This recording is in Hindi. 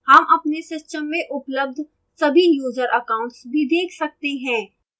हम अपने system में उपलब्ध सभी user accounts भी देख सकते हैं